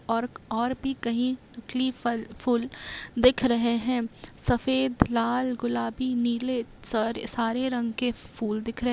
और और भी कहीं तितली फल-फूल दिख रहें हैं सफेद लाल गुलाबी नीले सरे सारे रंग के फूल दिख रहें हैं।